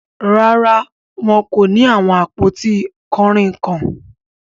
Rárá, wọn kò ni awọn apọ̀tí kanrínnkan.